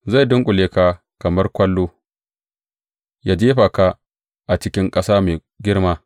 Zai dunƙule ka kamar ƙwallo ya jefa ka a cikin ƙasa mai girma.